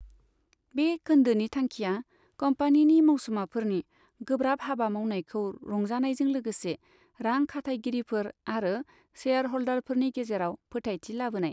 बे खोन्दोनि थांखिया कम्पानिनि मावसुमाफोरनि गोब्राब हाबा मावनायखौ रंजानायजों लोगोसे रां खाथायगिरिफोर आरो शेयार हल्दारफोरनि गेजेराव फोथायथि लाबोनाय।